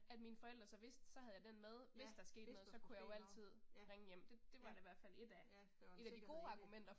At mine forældre så vidste så havde jeg den med hvis der skete noget så kunne jeg jo altid ringe hjem, det det var da i hvert fald et af, et af de gode argumenter